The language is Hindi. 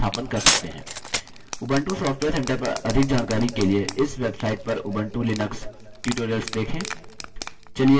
उबंटू सॉफ्टवेयर centre पर अधिक जानकारी के लिए इस website पर उबंटू लिनक्स tutorials देखें